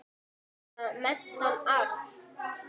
Eða meintan arf.